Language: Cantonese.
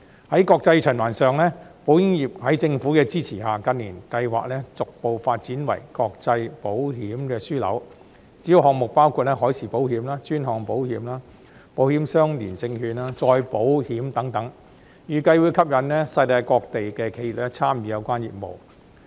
在國際循環上，保險業在政府的支持下，近年計劃逐步發展為國際保險樞紐，主要項目包括海事保險、專項保險、保險相連證券、再保險等，預計會吸引世界各地的企業參與有關業務。